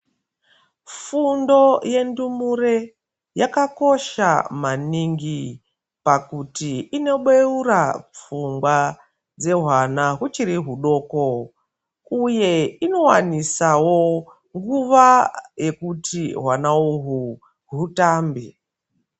Fundo yendumure yakakosha maningi pakuti inobeura pfungwa dzehwana huchiri hudoko uye inowanisawo nguwa yekuti hwana uhu hutambe